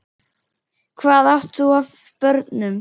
Hvað átt þú af börnum?